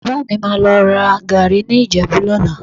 Bàbá mi má lọ ra gàárì ní Ìjẹ̀bú lọ́la